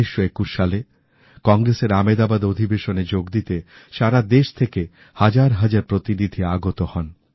১৯২১ সালে কংগ্রেসের আমেদাবাদ অধিবেশনে যোগদিতে সারা দেশ থেকে হাজার হাজার প্রতিনিধি আগত হন